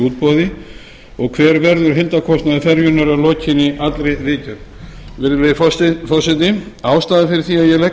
útboði og hver verður heildarkostnaður ferjunnar að lokinni allri viðgerð virðulegi forseti ástæðan fyrir því að ég legg